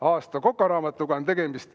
Aasta kokaraamatuga on tegemist.